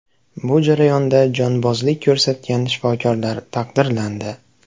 Bu jarayonda jonbozlik ko‘rsatgan shifokorlar taqdirlandi.